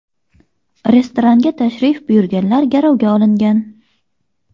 Restoranga tashrif buyurganlar garovga olingan.